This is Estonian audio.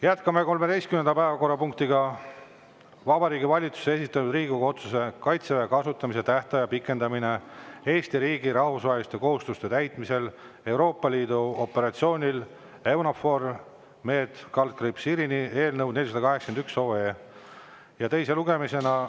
Jätkame 13. päevakorrapunktiga, Vabariigi Valitsuse esitatud Riigikogu otsuse "Kaitseväe kasutamise tähtaja pikendamine Eesti riigi rahvusvaheliste kohustuste täitmisel Euroopa Liidu sõjalisel operatsioonil EUNAVFOR Med/Irini" eelnõu 481 teise lugemisega.